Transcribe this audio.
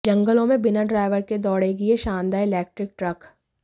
जंगलों में बिना ड्राइवर के दौड़ेगी ये शानदार इलेक्ट्रिक ट्रक